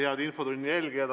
Head infotunni jälgijad!